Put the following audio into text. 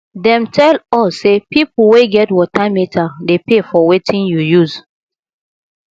dem tell us say pipo wey get water meter dey pay for wetin you use